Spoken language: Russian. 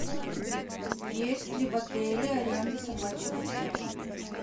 есть ли в отеле аренда собачьих упряжек